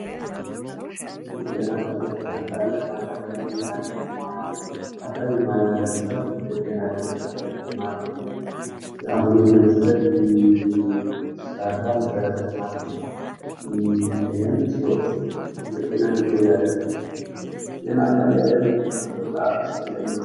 ጤና ጣቢያ ጤና ጣቢያ በአንድ አካባቢ በአንድ ከተማ ላይ የአካባብቢን ማህበረሰብ ጤና ለመጠበቅ ለማገልገል ለአገልግሎት ለመስጠት የሚሰራ መሰረተ ልማት ነው። ይሀም ስዎችን በጤና እንዲኖሩ ያደርጋል። ጤና ጣቢያ ለምንድነው በጣም አስፈላጊ የሆነው?